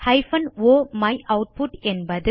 o மையூட்புட் என்பது